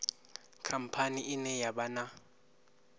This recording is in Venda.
khamphani ine ya vha na